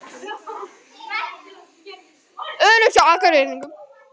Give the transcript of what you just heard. Öruggt hjá Akureyringum